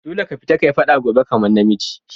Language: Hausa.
Dolle ka fita ka yi fada gobe kaman na miji!